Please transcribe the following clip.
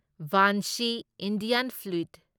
bansi Indian flute